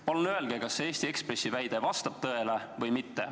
" Palun öelge, kas Eesti Ekspressi väide vastab tõele või mitte.